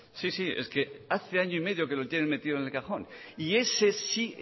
sí sí es que hace año y medio que lo tienen metido en el cajón ese sí